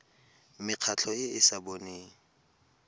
mekgatlho e e sa boneng